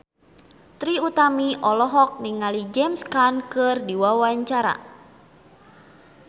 Trie Utami olohok ningali James Caan keur diwawancara